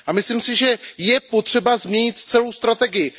Myslím si, že je třeba změnit celou strategii.